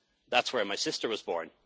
fell in love. That's where my sister